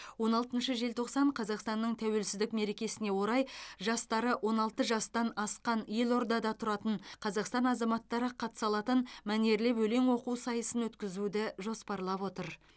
он алтыншы желтоқсан қазақстанның тәуелсіздік мерекесіне орай жастары он алты жастан асқан елордада тұратын қазақстан азаматтары қатыса алатын мәнерлеп өлең оқу сайысын өткізуді жоспарлап отыр